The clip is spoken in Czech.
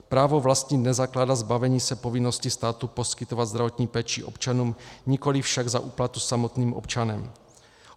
Právo vlastnit nezakládá zbavení se povinnosti státu poskytovat zdravotní péči občanům, nikoliv však za úplatu samotným občanem.